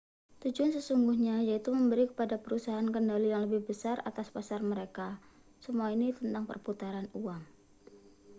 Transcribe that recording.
tujuan sesungguhnya yaitu memberi kepada perusahaan kendali yang lebih besar atas pasar mereka semua ini tentang perputaran uang